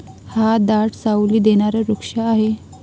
हा दाट साऊली देणारा वृक्ष आहे.